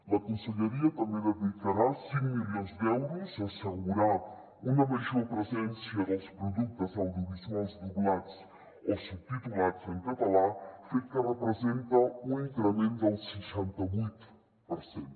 la conselleria també dedicarà cinc milions d’euros a assegurar una major presència dels productes audiovisuals doblats o subtitulats en català fet que representa un increment del seixanta vuit per cent